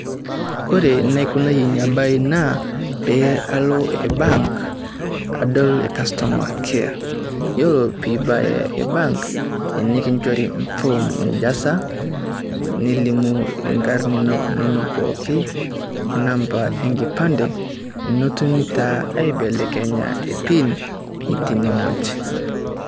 Kore naikunayie ina baa naa pee alo bank adol customer care. Ore pee ibaya bank nikinchori form ijaza nilimu inkarn inonok pookin o namba enkipande, netumi taa aibelekenya e pin tene wueji.